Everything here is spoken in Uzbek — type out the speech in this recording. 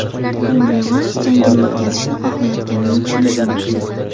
U revansh jangini o‘tkazishni xohlayotganini tushunish mumkin.